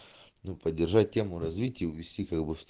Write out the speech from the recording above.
ну поддержать тему развитие увести как бы в сто